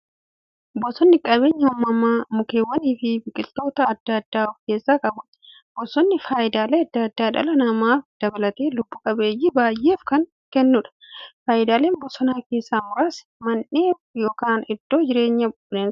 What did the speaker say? Bosonni qabeenya uumamaa mukkeewwaniifi biqiltoota adda addaa of keessaa qabudha. Bosonni faayidaalee adda addaa dhala namaa dabalatee lubbuu qabeeyyii baay'eef kan kennuudha. Faayidaalee bosonaa keessaa muraasni; Mandhee yookin iddoo jireenya bineensotaati.